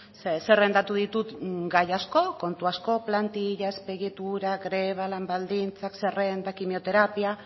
ze zerrendatu ditut gai asko kontu asko plantilla azpiegitura greba lan baldintzak zerrendak kimioterapia